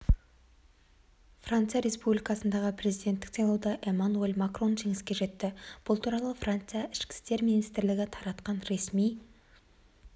франция республикасындағы президенттік сайлауда эммануэль макрон жеңіске жетті бұл туралы франция ішкі істер министрлігі таратқан ресми